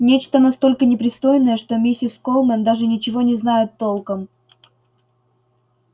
нечто настолько непристойное что миссис колмен даже ничего не знает толком